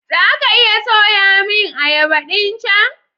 Za ka iya soya min ayaba ɗin chan?